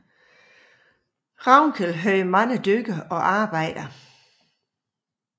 Ravnkel havde mange dyr og arbejdere